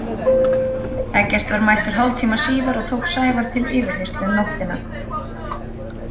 Eggert var mættur hálftíma síðar og tók Sævar til yfirheyrslu um nóttina.